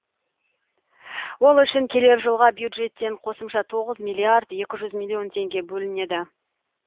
ол үшін келер жылға бюджеттен қосымша тоғыз миллиард екі жүз миллион теңге бөлінеді